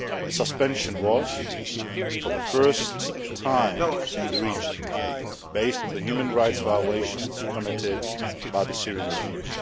The suspension was, for the first time in the region, based on the human rights violations committed by the Syrian regime.